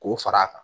K'o fara a kan